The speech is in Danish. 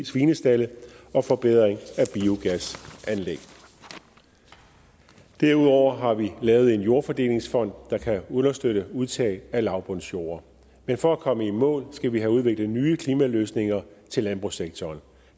svinestalde og forbedring af biogasanlæg derudover har vi lavet en jordfordelingsfond der kan understøtte udtag af lavbundsjorde men for at komme i mål skal vi have udviklet nye klimaløsninger til landbrugssektoren